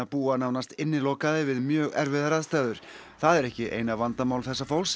búa nánast innilokaðir við mjög erfiðar aðstæður það er ekki eina vandamál þessa fólks